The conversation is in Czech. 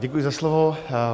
Děkuji za slovo.